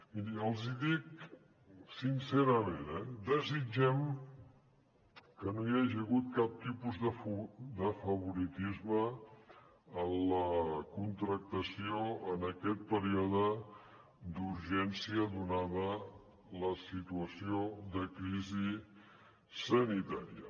miri els hi dic sincerament desitgem que no hi hagi hagut cap tipus de favoritisme en la contractació en aquest període d’urgència donada la situació de crisi sanitària